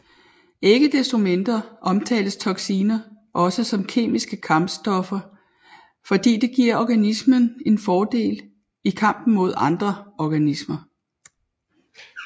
Ikke destomindre omtales toxiner også som kemiske kampstoffer fordi det giver en organisme en fordel i kampen mod andre organismer